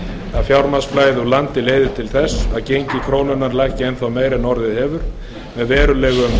að mikið fjármagnsflæði úr landi leiði til þess að gengi krónunnar lækki enn meira en orðið hefur með verulega